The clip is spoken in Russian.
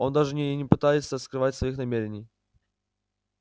он даже не и не пытается скрывать своих намерений